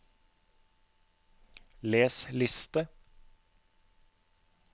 les liste